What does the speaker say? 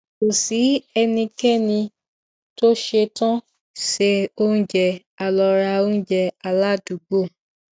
kò sí ẹnikẹni tó ṣetán se oúnjẹ a lọ ra oúnjẹ aládùúgbò